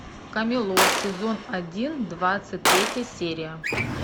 камелот сезон один двадцать третья серия